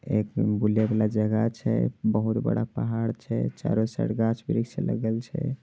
एक बुले वाला जगह छै। बहुत बड़ा पहाड़ छै। चारो सर गाछ-वृक्ष लगेल छै।